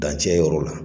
Dancɛ yɔrɔ la